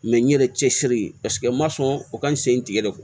n ɲɛrɛ cɛ siri paseke n ma sɔn o ka n sen tigɛ